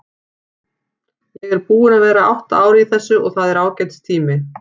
Ég er búinn að vera átta ár í þessu og það er ágætis tími.